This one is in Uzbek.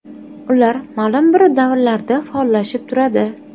Ular ma’lum bir davrlarda faollashib turadi.